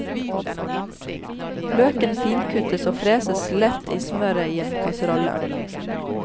Løken finkuttes og freses lett i smøret i en kasserolle.